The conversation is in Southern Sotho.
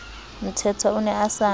mthethwa o ne a sa